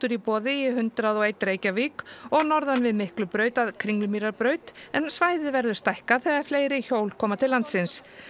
í boði í hundrað og einum Reykjavík og norðan við Miklubraut að Kringlumýrarbraut en svæðið verður stækkað þegar fleiri hjól koma til landsins